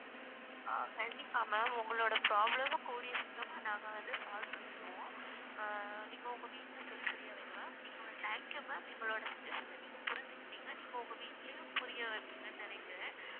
ஆஹ் கண்டிப்பா ma'am உங்களோட problem மும் கூடிய சீக்கிரமா நாங்க வந்து solve பண்ணிருவோம் ஆஹ் நீங்க உங்க வீட்டுல சொல்லி புரிய வைங்க ma'am நீங்க வந்~ thank you ma'am எங்களோட situation அ நீங்க புரிஞ்சுக்கிட்டீங்க நீங்க உங்க வீட்டிலேயும் புரிய வைப்பீங்கன்னு நினைக்கிறேன்